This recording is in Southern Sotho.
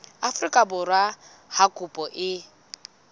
afrika borwa ha kopo e